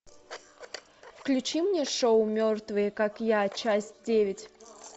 включи мне шоу мертвые как я часть девять